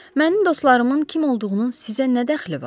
Mənim dostlarımın kim olduğunun sizə nə dəxli var?